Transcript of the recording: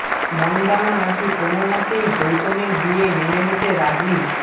মনদানা নাকি কোনও মতেই গৌতমের বিয়ে মেনে নিতে রাজি